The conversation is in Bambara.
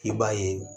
I b'a ye